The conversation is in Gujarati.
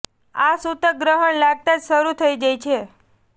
આ સૂતક ગ્રહણ લાગતા જ શરૂ થઈ જાય છે